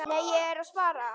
Nei, ég er að spara.